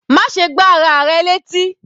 Má ṣe gbá ara rẹ létí.